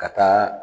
Ka taa